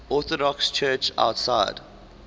orthodox church outside